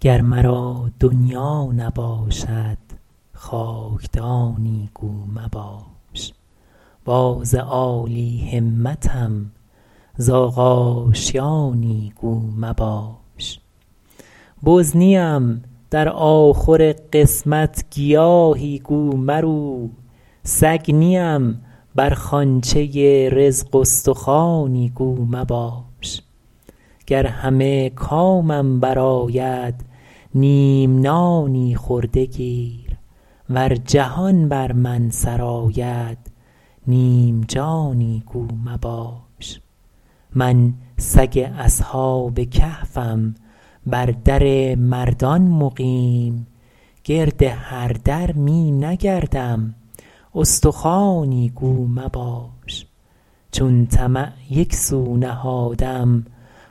گر مرا دنیا نباشد خاکدانی گو مباش باز عالی همتم زاغ آشیانی گو مباش بز نیم در آخور قسمت گیاهی گو مرو سگ نیم بر خوانچه رزق استخوانی گو مباش گر همه کامم برآید نیم نانی خورده گیر ور جهان بر من سرآید نیم جانی گو مباش من سگ اصحاب کهفم بر در مردان مقیم گرد هر در می نگردم استخوانی گو مباش چون طمع یکسو نهادم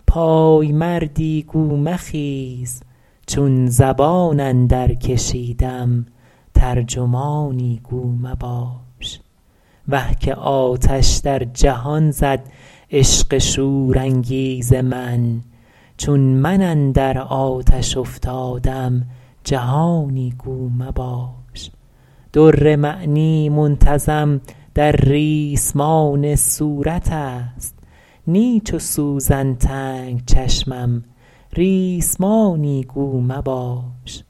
پایمردی گو مخیز چون زبان اندر کشیدم ترجمانی گو مباش وه که آتش در جهان زد عشق شورانگیز من چون من اندر آتش افتادم جهانی گو مباش در معنی منتظم در ریسمان صورت است نی چو سوزن تنگ چشمم ریسمانی گو مباش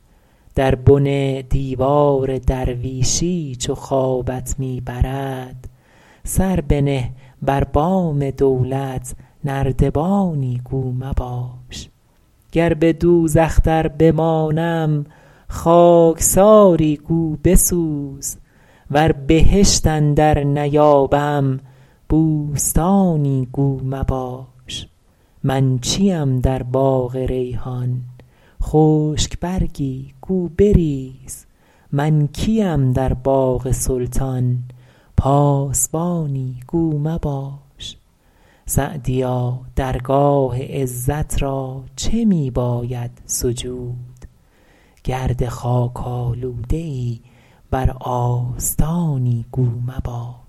در بن دیوار درویشی چو خوابت می برد سر بنه بر بام دولت نردبانی گو مباش گر به دوزخ در بمانم خاکساری گو بسوز ور بهشت اندر نیابم بوستانی گو مباش من چیم در باغ ریحان خشک برگی گو بریز من کیم در باغ سلطان پاسبانی گو مباش سعدیا درگاه عزت را چه می باید سجود گرد خاک آلوده ای بر آستانی گو مباش